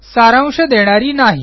सारांश देणारी नाही